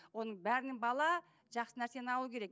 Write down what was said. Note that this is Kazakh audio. оның бәрінен бала жақсы нәрсені алу керек